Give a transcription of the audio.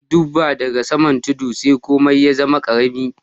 Na dubba da ga saman tudu sai komi ya zama karemi.